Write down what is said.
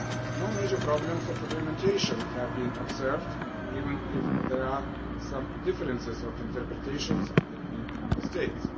No major problems of implementation have been observed, even if there are some differences of interpretation between Member States.